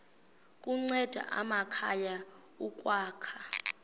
kunceda amakhaya ukwakha